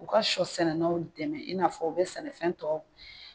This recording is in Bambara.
U ka sɔ sɛnɛlaw dɛmɛ i n'a fɔ u bɛ sɛnɛfɛn tɔw